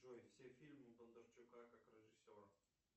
джой все фильмы бондарчука как режиссера